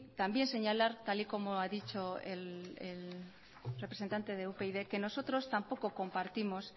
también señalar tal y como ha dicho el representante de upyd que nosotros tampoco compartimos